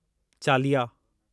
चालिया